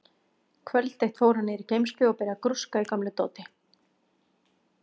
Kvöld eitt fór hann niður í geymslu og byrjaði að grúska í gömlu dóti.